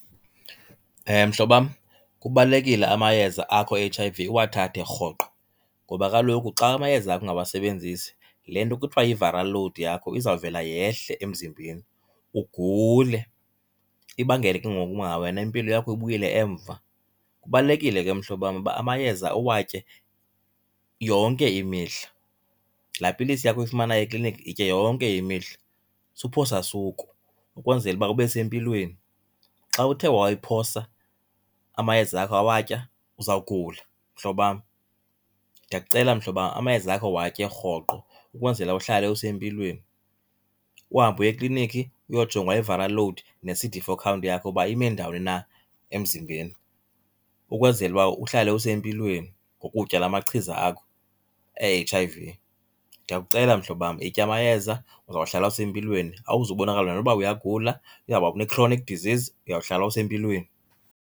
Mhlobam, kubalulekile amayeza akho e-H_I_V uwathathe rhoqo. Ngoba kaloku xa amayeza akho ungawasebenzisi le nto kuthiwa yi-viral load yakho izawuvela yehle emzimbeni ugule, ibangele ke ngoku uba wena impilo yakho ibuyele emva. Kubalulekile ke mhlobam uba amayeza uwatye yonke imihla. Laa pilisi yakho uyifumanayo ekliniki yitye yonke imihla, suphosa suku ukwenzela uba ube sempilweni. Xa uthe wayiphosa amayeza akho awatya uzawugula mhlobam. Ndiyakucela mhlobam amayeza wakho watye rhoqo ukwenzela uhlale usempilweni. Uhambe uye eklinikhi uyojongwa i-viral load ne-C_D four count yakho uba ime ndawoni na emzimbeni ukwenzela uba uhlale usempilweni ngokutya laa machiza akho e-H_I_V. Ndiyakucela mhlobam, yitya amayeza uzawuhlala usempilweni, awuzubonakala noba uyagula une-chronic disease, uyawuhlala usempilweni.